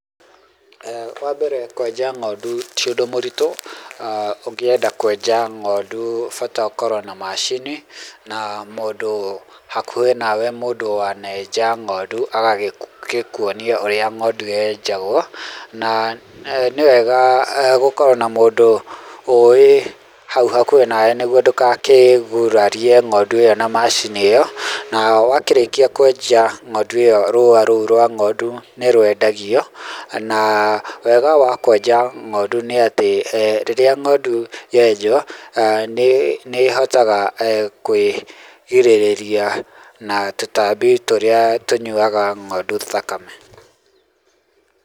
Wa mbere kwenja ng'ondu ti ũndũ mũritũ. Ũngĩenda kwenja ng'ondu bata ũkorwo na macini na mũndũ hakuhĩ nawe mũndũ wanenja ng'ondu agagĩkwonia ũrĩa ng'ondu yenjagwo. na nĩ wega gũkorwo na mũndũ ũĩ hau hakuhĩ nawe nĩguo ndũgakĩgurarie ng'ondu ĩyo na macini ĩyo, na wakĩrĩkia kwenja ng'ondu ĩyo rũa rũu rwa ng'ondu nĩ rwendagio. na wega wa kwenja ng'ondu nĩ atĩ, rĩrĩa ng'ondu yenjwo nĩ, nĩ ĩhotaga kwĩrigĩrĩria na tũtambi tũrĩa tũnyuaga ng'ondu thakame.